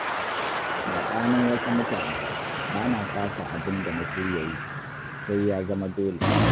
Saɓanin wasu mutane, ba na fasa abin da na shirya yi, sai ya zama dole